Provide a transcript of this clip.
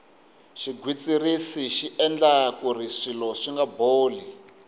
xigwitsirisi xi endla kuri swilo swinga boli